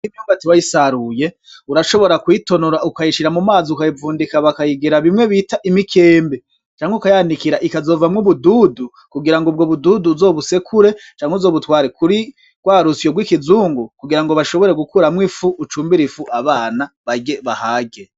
Imyumbati iyo wayisaruye urashobora kuyitonora ukayishira mu mazi ukayivundika bakayigira bimwe bita imikembe canke ukayanikira ikazovamwo ubududu kugirango ubgo bududu uzobusekure canke uzobutware kuri rwa rusyo rw'ikizungu kugira bashobore gukuramwo ifu ucumbire ifu abana barye bahage .